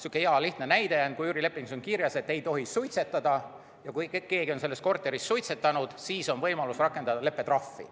Hea lihtne näide: kui üürilepingus on kirjas, et ei tohi suitsetada, ja kui keegi on selles korteris suitsetanud, siis on võimalus rakendada leppetrahvi.